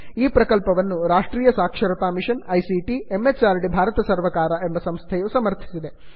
ಈ ಪ್ರಕಲ್ಪವನ್ನು Rashtriya Saksharta mission ICT MHRD ಭಾರತ ಸರ್ಕಾರ ಎಂಬ ಸಂಸ್ಥೆಯು ಸಮರ್ಥಿಸಿದೆ